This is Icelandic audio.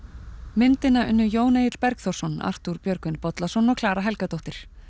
myndina unnu Jón Egill Bergþórsson Arthúr Björgvin Bollason og Klara Helgadóttir